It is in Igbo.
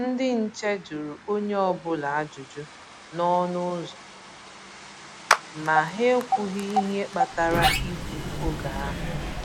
Ndị nche jụrụ onye ọ́bụla ajụjụ n’ọnụ ụzọ, ma ha ekwughi ihe kpatara igbu oge ahụ.